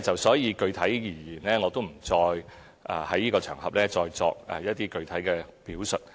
所以，具體而言，我不會在這場合再作一些具體表述。